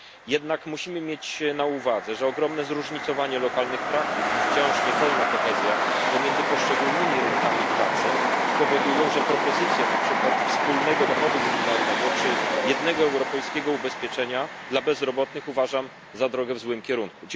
Jednak musimy mieć na uwadze, że ogromne zróżnicowanie lokalnych praktyk i wciąż niepełna kohezja pomiędzy poszczególnymi rynkami pracy powodują, że propozycje na przykład wspólnego dochodu minimalnego czy jednego europejskiego ubezpieczenia dla bezrobotnych uważam za drogę w złym kierunku.